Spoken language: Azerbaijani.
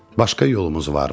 Başqa yolumuz varmı?